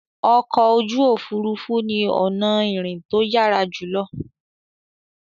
Ọkọ̀ ojú òfurufú ni ọ̀nà ìrìn tó yára jùlọ